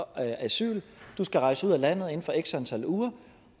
asyl du skal rejse ud af landet inden for x antal uger